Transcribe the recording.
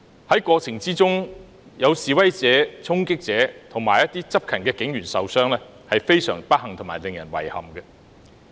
在這過程中有示威者、衝擊者和執勤警員受傷，是非常不幸和令人遺憾的。